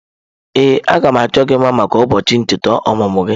Ee, a ga m achọ gị mma maka ụbọọchị icheta ọmụmụ gị.